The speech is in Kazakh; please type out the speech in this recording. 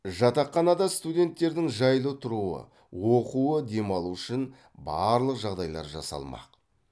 жатақханада студенттердің жайлы тұруы оқуы демалуы үшін барлық жағдайлар жасалмақ